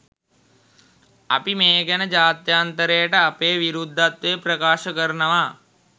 අපි මේ ගැන ජාත්‍යන්තරයට අපේ විරුද්ධත්වය ප්‍රකාශ කරනවා.